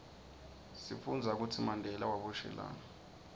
sifundza kutsi mandela waboshelwani